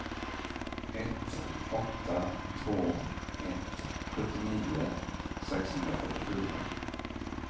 ett åtta två ett sjuttionio sexhundrafyrtiofyra